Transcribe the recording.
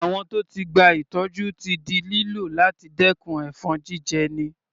Àwọ̀n tó ti gba ìtọ́jú ti di lílò láti dẹkùn ẹ̀fọn jíjẹni.